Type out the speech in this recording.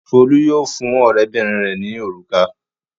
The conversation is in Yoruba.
Folú yóò fún ọ̀rẹ́bìnrin rẹ̀ ní òrùka.